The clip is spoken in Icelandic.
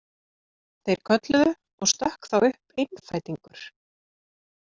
Þeir kölluðu og stökk þá upp einfætingur.